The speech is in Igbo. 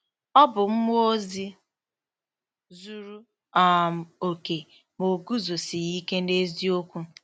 Ọ bụ mmụọ ozi zuru um okè, ma o “guzosighị ike n’eziokwu.